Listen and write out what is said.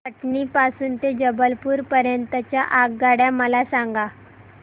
कटनी पासून ते जबलपूर पर्यंत च्या आगगाड्या मला सांगा